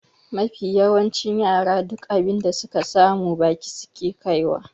Mafi yawancin yara duk abin da suka samu baki suke kaiwa.